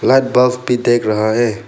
Box भी देख रहा है।